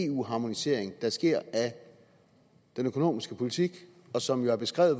eu harmonisering der sker af den økonomiske politik og som jo er beskrevet